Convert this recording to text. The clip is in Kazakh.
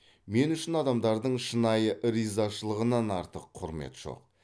мен үшін адамдардың шынайы ризашылығынан артық құрмет жоқ